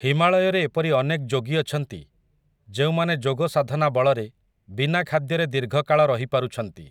ହିମାଳୟରେ ଏପରି ଅନେକ୍ ଯୋଗୀ ଅଛନ୍ତି, ଯେଉଁମାନେ ଯୋଗସାଧନା ବଳରେ, ବିନା ଖାଦ୍ୟରେ ଦୀର୍ଘକାଳ ରହିପାରୁଛନ୍ତି ।